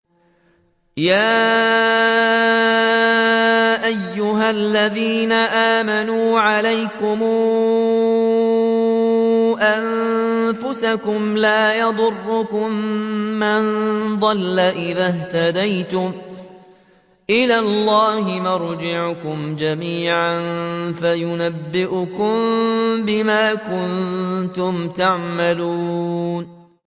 يَا أَيُّهَا الَّذِينَ آمَنُوا عَلَيْكُمْ أَنفُسَكُمْ ۖ لَا يَضُرُّكُم مَّن ضَلَّ إِذَا اهْتَدَيْتُمْ ۚ إِلَى اللَّهِ مَرْجِعُكُمْ جَمِيعًا فَيُنَبِّئُكُم بِمَا كُنتُمْ تَعْمَلُونَ